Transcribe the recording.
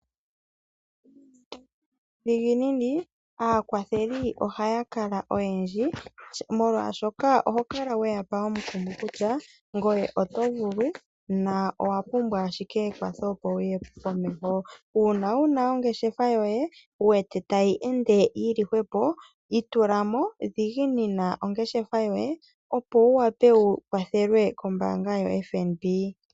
Nuudhiginini, aakwatheli ohaya kala oyendji, molwashoka oho kala we ya pa omukumo kutya ngoye oto vulu na owa pumbwa ashike ekwatho, opo wu ye komeho. Uuna wu na ongeshefa yoye wu wete tayi ende yi li hwepo, itula mo, dhiginina ongeshefa yoye , opo wu wape wu kwathelwe kombaanga yoFNB.